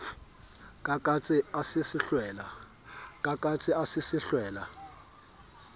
ka katse a se hlwella